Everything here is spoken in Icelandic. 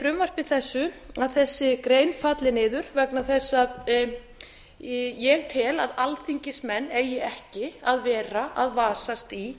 frumvarpi þessu að þessi grein falli niður vegna þess að ég tel að alþingismenn eigi ekki að vera að vasast í